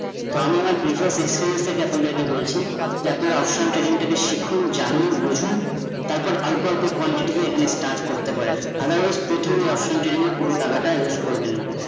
তো আমি আমার precious experience থেকে আপনাদের কে বলছি যে আপনারা option trading টাকে শিখুন, জানুন, বুঝুন তার পর অল্প অল্প quantity তে এখানে start পারেন, otherwise প্রথমে option trading এ পুরো টাকা টা use করবেন না